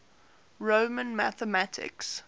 roman mathematics